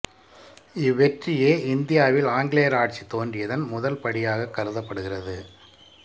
இவ்வெற்றியே இந்தியாவில் ஆங்கிலேயர் ஆட்சி தோன்றியதன் முதல் படியாகக் கருதப்படுகிறது